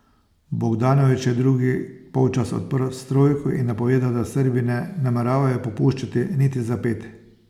Bogdanović je drugi polčas odprl s trojko in napovedal, da Srbi ne nameravajo popuščati niti za ped.